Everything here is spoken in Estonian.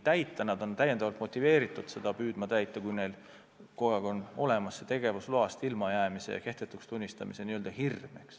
Krediidiandjad on täiendavalt motiveeritud seda täitma, kui neil on kogu aeg hirm tegevusloast ilma jääda – see võidakse kehtetuks tunnistada.